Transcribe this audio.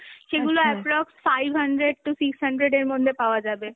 সেগুলো approx five hundred to six hundred এর মধ্যে পাওয়া যাবে